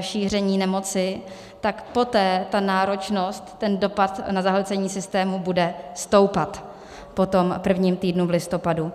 šíření nemoci, tak poté ta náročnost, ten dopad na zahlcení systému bude stoupat po tom prvním týdnu v listopadu.